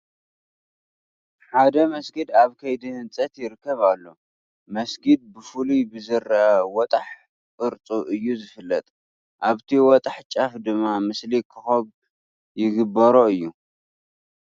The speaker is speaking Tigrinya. ሓደ መስጊድ ኣብ ከይዲ ህንፀት ይርከብ ኣሎ፡፡ መስጊድ ብፍሉይ ብዝርአ ወጣሕ ቅርፁ እዩ ዝፍለጥ፡፡ ኣብቲ ወጣሕ ጫፍ ድማ ምስሊ ኮኸብ ይግበሮ እዩ፡፡